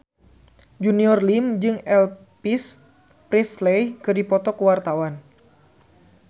Junior Liem jeung Elvis Presley keur dipoto ku wartawan